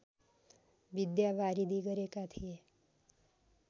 विद्यावारिधि गरेका थिए